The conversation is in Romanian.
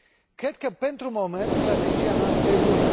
Cred că, pentru moment, strategia noastră e bună.